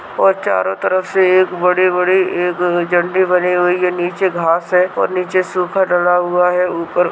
और चारों तरफ से एक बड़ी-बड़ी एक झड़ी बनी हुई है नीचे घास है और नीचे सुखा डला हुआ है ऊपर--